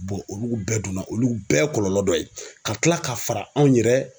olu bɛɛ donna olu bɛɛ kɔlɔlɔ dɔ ye ka kila ka fara anw yɛrɛ